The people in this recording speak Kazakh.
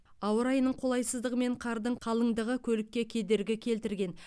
ауа райының қолайсыздығы мен қардың қалыңдығы көлікке кедергі келтірген